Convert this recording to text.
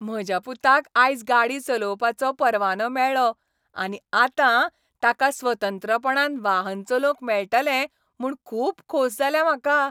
म्हज्या पुताक आयज गाडी चलोवपाचो परवानो मेळ्ळो आनी आतां ताका स्वतंत्रपणान वाहन चलोवंक मेळटलें म्हूण खूब खोस जाल्या म्हाका.